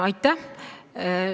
Aitäh!